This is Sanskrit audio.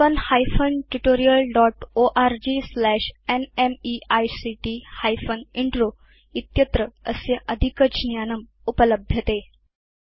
spoken hyphen tutorial dot org slash NMEICT hyphen intro इत्यत्र अस्य अधिकज्ञानम् उपलभ्यते